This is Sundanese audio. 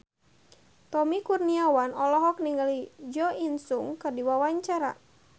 Tommy Kurniawan olohok ningali Jo In Sung keur diwawancara